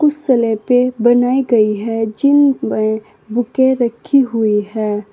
कुछ स्लेपे बनाई गई हैं जिन पर बुके रखी हुई है।